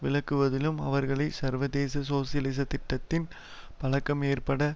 விளக்குவதிலும் அவர்களை சர்வதேச சோசியலிச திட்டத்தி பழக்கம் ஏற்பட